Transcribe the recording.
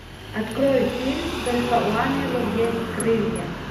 открой фильм только у ангелов есть крылья